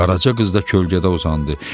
Qaraca qız da kölgədə uzandı.